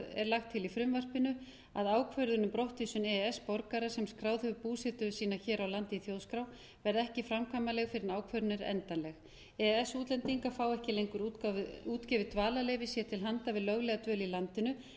er lagt til í frumvarpinu að ákvörðun um brottvísun e e s borgara sem skráð hefur búsetu sína hér á landi í þjóðskrá verði ekki framkvæmanleg fyrr en ákvörðunin er endanleg e e s útlendingar fá ekki lengur útgefið dvalarleyfi sér til handa við löglega dvöl í landinu en